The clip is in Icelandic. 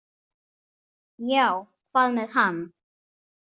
Já, hvað með hann?